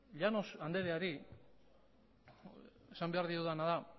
llanos andreari esan behar diodana da